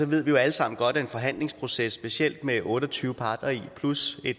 ved jo alle sammen godt at en forhandlingsproces specielt med otte og tyve parter plus